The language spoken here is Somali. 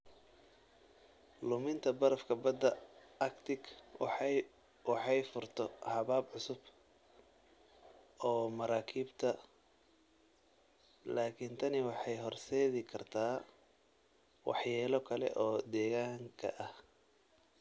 Luminta barafka badda Arctic waxay furto habab cusub oo maraakiibta, laakiin tani waxay horseedi kartaa waxyeelo kale oo deegaanka ah.